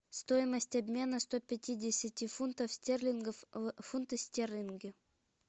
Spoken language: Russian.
стоимость обмена сто пятидесяти фунтов стерлингов в фунты стерлинги